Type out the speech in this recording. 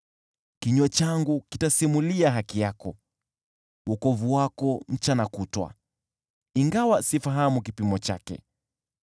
Kinywa changu kitasimulia haki yako, wokovu wako mchana kutwa, ingawa sifahamu kipimo chake.